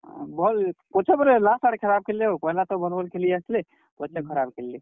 ହଁ, ଭଲ୍, ପଛେ ପରେ last ଆଡେ ବହୁତ୍ ଖରାପ୍ ଖେଲ୍ ଲେ ହୋ, ପହେଲା ତ ଭଲ୍ ଭଲ୍ ଖେଲି ଆସ୍ ଲେ ପଛେ ଖରାପ୍ ଖେଲ୍ ଲେ।